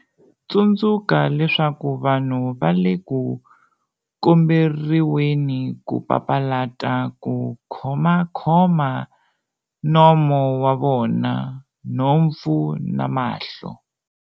Tsundzuka leswaku vanhu va le ku komberiweni ku papalata ku khomakhoma nomo wa vona, nhompfu na mahlo.